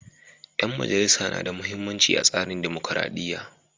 Ƴan majalisa na da muhimmanci a tsarin dumukuradiyya.